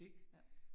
Ja